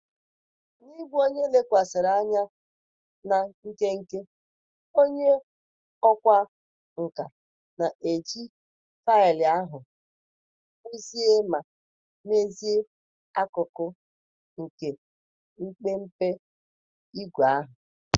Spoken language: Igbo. N'ịbụ onye lekwasịrị anya na nkenke, onye ọkwá nkà na-eji faịlụ ahụ kpụzie ma mezie akụkụ nke mpempe ígwè ahụ.